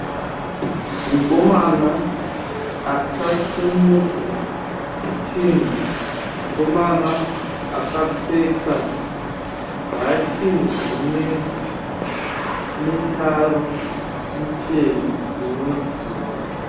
Mukomana akasimudza chinhu, mukomana akapfeka bhachi rine mitaro michena inodzika.